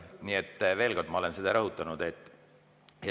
Nii et veel kord: ma olen seda rõhutanud.